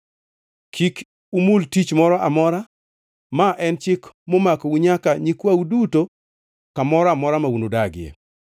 Kik umul tich moro amora. Ma en chik ma omakou nyaka nyikwau duto kamoro amora ma unudagie.